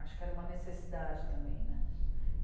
Acho que era uma necessidade também, né?